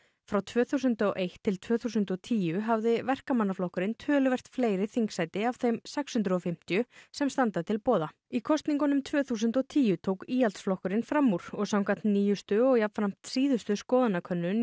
frá tvö þúsund og eitt til tvö þúsund og tíu hafði Verkamannaflokkurinn töluvert fleiri þingssæti af þeim sex hundruð og fimmtíu sem standa til boða í kosningunum tvö þúsund og tíu tók Íhaldsflokkurinn fram úr og samkvæmt nýjustu og jafnframt síðustu skoðanakönnun